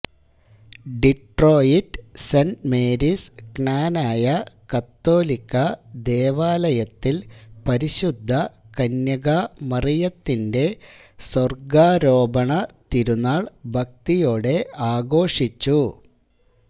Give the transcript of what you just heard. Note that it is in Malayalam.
ഡിട്രോയിറ്റ് സെന്റ് മേരീസ് ക്നാനായ കത്തോലിക്കാ ദേവാലയത്തില് പരിശുദ്ധ കന്യകാമറിയത്തിന്റെ സ്വര്ഗ്ഗാരോപണ തിരുനാള് ഭക്തിയോടെ ആഘോഷിച്ചു